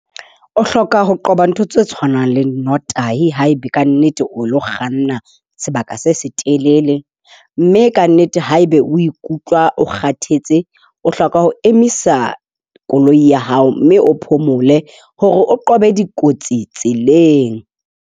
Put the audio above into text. O hloka ho qoba ntho tse tshwanang le nnotahi haeba kannete o lo kganna sebaka se se telele. Mme kannete haeba o ikutlwa o kgathetse, o hloka ho emisa koloi ya hao, mme o phomole hore o qobe dikotsi tseleng.